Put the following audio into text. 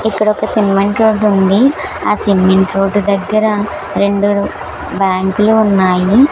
ఇక్కడ ఒక cement road ఉంది ఆ సిమెంట్ రోడ్డు దగ్గర రెండు బ్యాంకులు ఉన్నాయి.